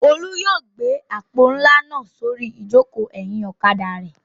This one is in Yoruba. Olú yóò gbé àpò ńlá náà sórí ìjókòó ẹ̀yìn ọ̀kadà rẹ̀.